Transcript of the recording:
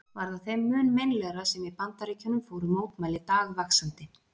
Var það þeim mun meinlegra sem í Bandaríkjunum fóru mótmæli dagvaxandi.